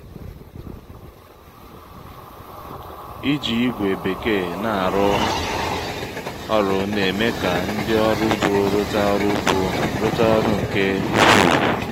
iji ígwè bekee na-arụ ọrụ n'eme ka ndị ọrụ ugbo ruta ọrụ ugbo ruta ọrụ nke ukwuu